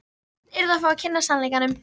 Börn yrðu að fá að kynnast sannleikanum.